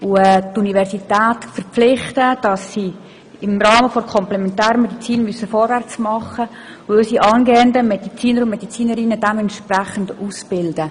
Wir müssen die Universität dazu verpflichten, dass sie im Rahmen der Komplementärmedizin vorwärts macht und unsere angehenden Medizinerinnen und Mediziner entsprechend ausbildet.